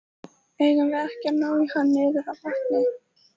Eigum við ekki að ná í hann niður að vatni?